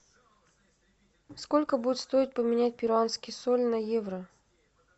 сколько будет стоить поменять перуанский соль на евро